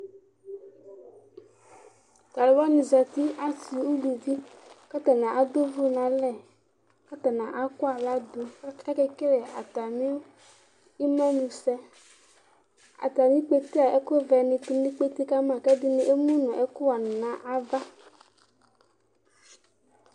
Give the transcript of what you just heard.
Tʋ alʋ wanɩ zati, asɩ, uluvi kʋ atanɩ adʋ ʋvʋ nʋ alɛ kʋ atanɩ akɔ aɣla dʋ kʋ akekele atamɩ imenusɛ Atamɩ ikpete yɛ, ɛkʋvɛnɩ tʋ nʋ ikpete ka ma kʋ ɛdɩnɩ emu nʋ ɛkʋɣanɩ nʋ ava